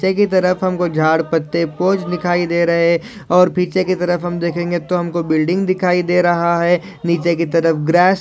पीछे की तरफ हमको झाड पत्ते लिखाई दे रहे है और पीछे की तरफ हम देखेंगे तो हमको बिल्डिंग दिखाई दे रहा है नीचे की तरफ ग्रास --